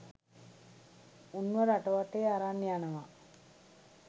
උන්ව රට වටේ අරන් යනවා.